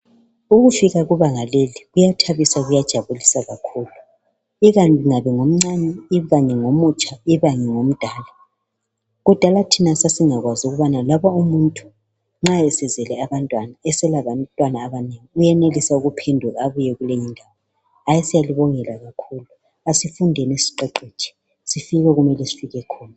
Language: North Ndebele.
Ukufika kubanga leli, kuyathabisa kuyajabulisa kakhulu. lkanye ngomncane, ikanyengomutsha, ikanye ngomdala. Kudala thina sasingakwazi ukuthi loba umuntu esezele abantwana, eselabantwana abanengi, uyenelisa ukuphenduka, abuse kule ndawo. Hayi siyalibongela kakhulu. Asifundeni siqeqetshe, sifikeni lapha okumele sifike khona.